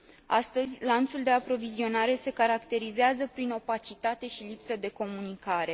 Astăzi, lanțul de aprovizionare se caracterizează prin opacitate și lipsă de comunicare.